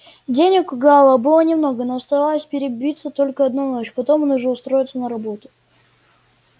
денег у гаала было немного но оставалось перебиться только одну ночь потом он уже устроится на работу